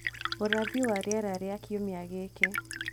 Ũrathi wa rĩera rĩa kiumia gĩkĩ